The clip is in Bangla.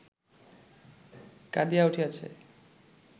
কাঁদিয়া উঠিয়াছে